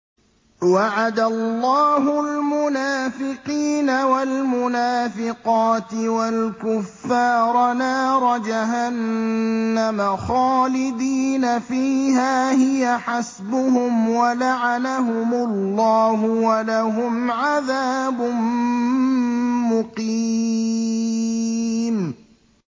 وَعَدَ اللَّهُ الْمُنَافِقِينَ وَالْمُنَافِقَاتِ وَالْكُفَّارَ نَارَ جَهَنَّمَ خَالِدِينَ فِيهَا ۚ هِيَ حَسْبُهُمْ ۚ وَلَعَنَهُمُ اللَّهُ ۖ وَلَهُمْ عَذَابٌ مُّقِيمٌ